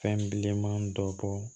Fɛn bilenman dɔ bɔ